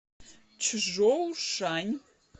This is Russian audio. чжоушань